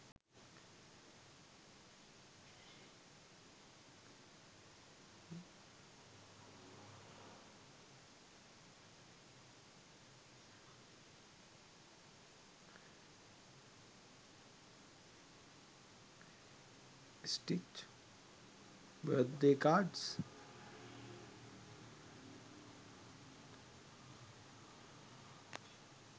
stitch birthday cards